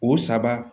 O saba